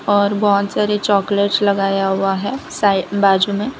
और बहोत सारे चॉकलेट्स लगाया हुआ है साई बाजू में--